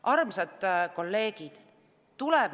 Armsad kolleegid!